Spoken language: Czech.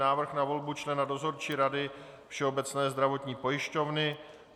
Návrh na volbu člena Dozorčí rady Všeobecné zdravotní pojišťovny